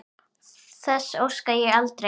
Þess óska ég aldrei.